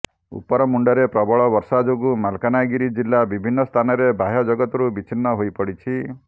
ଉପରମୁଣ୍ଡରେ ପ୍ରବଳ ବର୍ଷା ଯୋଗୁଁ ମାଲକାନଗିରି ଜିଲ୍ଲା ବିଭିନ୍ନ ସ୍ଥାନରେ ବାହ୍ୟଜଗତରୁ ବିଛିନ୍ନ ହୋଇ ପଡ଼ିଛି